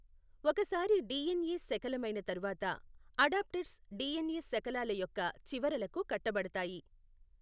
ఒకసారి డిఎన్ఎ శకలమైన తరువాత అడాప్టెర్స్ డిఎన్ఎ శకలాల యొక్క చివరలకు కట్టబడతాయి.